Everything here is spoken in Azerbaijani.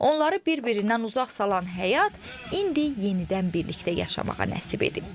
Onları bir-birindən uzaq salan həyat indi yenidən birlikdə yaşamağa nəsib edib.